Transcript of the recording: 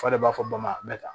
F'a de b'a fɔ bama bɛ ta